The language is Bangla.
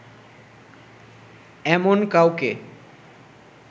এমন কাউকে